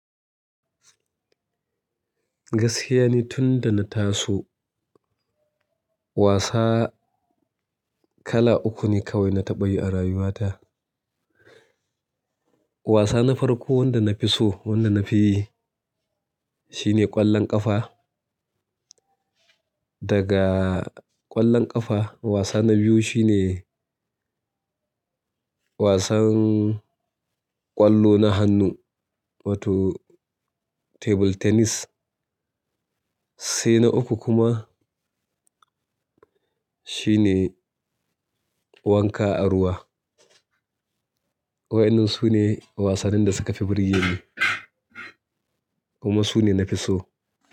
Gaskiya ne tun da na taso wasa kala uku ne kawai na taɓa yi a rayuwata. Wasa na farko wanda na fi so wanda na fi yi shine ƙwallon ƙafa. Daga ƙwallon ƙafa wasa na biyu shine wasan ƙwallo na hannu wato table tennis. Sai na uku kuma shine wanka a ruwa. Wa'inin su ne wasannin da suka fi burge ni kuma su ne na fi so.